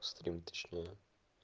стрим точнее